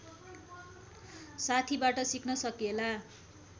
साथीबाट सिक्न सकिएला